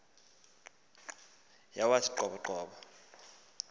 yawathi qobo qobo